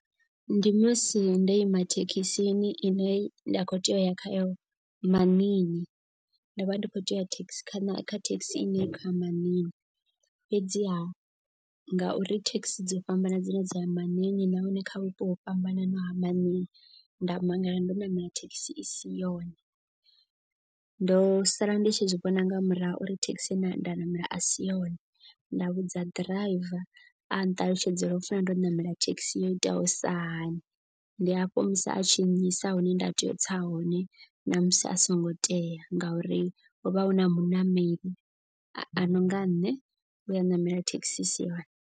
Ndi musi ndo ima thekhisini ine nda khou tea u ya khayo Maṋiini. Ndo vha ndi khou tea u thekhisi kha na kha thekhisi ine kha Maṋiini. Fhedziha ngauri thekhisi dzo fhambana dziṅwe dza ya Maṋiini nahone kha vhupo ho fhambananaho Maṋiini. Nda mangala ndo ṋamela thekhisi i si yone ndo sala ndi tshi zwi vhona nga murahu uri thekhisi nda nda ṋamela a si yone. Nda vhudza ḓiraiva a nṱalutshedza uri ho funa ndo ṋamela thekhisi yo itaho sa hani. Ndi hafho musi a tshi ṅwisa hone nda tea u tsa hone ṋamusi a songo tea. Ngauri ho vha hu na muṋameli a no nga nṋe u ya ṋamela thekhisi yone.